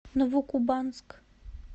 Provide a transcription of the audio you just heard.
новокубанск